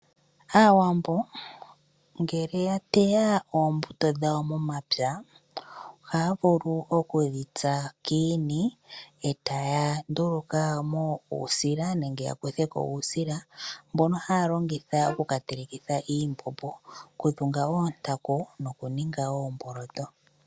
Aawambo ngele ya teya oombuto dhawo momapya ohaya vulu okudhitsa kiishini etaya nduluka mo uusila nenge ya kuthe ko uusila mbono haya longitha oku katelekitha iimbombo, okudhunga oontaku nokuninga oomboloto.